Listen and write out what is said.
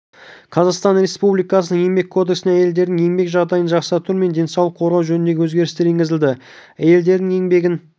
қазақстан республикасының еңбек кодексіне әйелдердің еңбек жағдайын жақсарту мен денсаулығын қорғау жөнінде өзгерістер енгізілді әйелдердің еңбегін